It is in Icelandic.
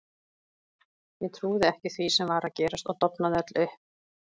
Ég trúði ekki því sem var að gerast og dofnaði öll upp.